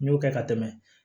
N y'o kɛ ka tɛmɛ